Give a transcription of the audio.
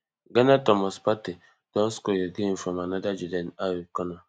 ghana thomas partey don score again from anoda jordan ayew corner